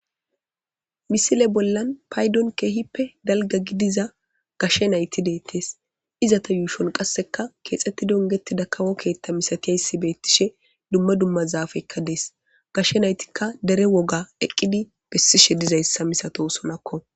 Misile bollan paydon keehippe dalga gidiza gashshe nayti deettees izata yuushon qasseka keexxetti dongeti dakawo keetta misatiayssi beettishe dumma dumma zaafekka dees gashshe naytikka dere woga eqqidi bessishe dizayssa misato sonakko.